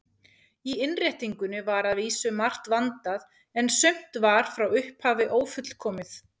Í innréttingunni var að vísu margt vandað, en sumt var frá upphafi ófullkomið.